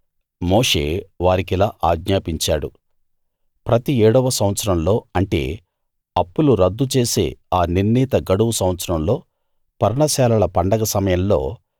మోషే వారికిలా ఆజ్ఞాపించాడు ప్రతి ఏడవ సంవత్సరంలో అంటే అప్పులు రద్దు చేసే ఆ నిర్ణీత గడువు సంవత్సరంలో పర్ణశాలల పండగ సమయంలో